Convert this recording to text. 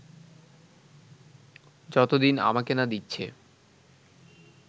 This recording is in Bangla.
যতদিন আমাকে না দিচ্ছে